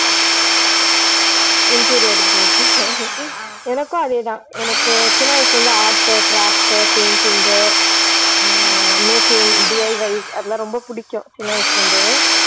Interior group ஆ எனக்கும் அதே தான் எனக்கு சின்ன வயசுல இருந்து art உ craft உ painting உ ஆஹ் makingDIY அதெல்லாம் ரொம்ப பிடிக்கும் சின்ன வயசுல இருந்து